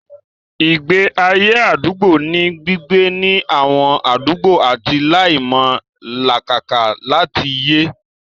Ìgbé ayé àdúgbò ní gbígbé ní àwọn àdúgbò àti láti máa làkàkà láti yè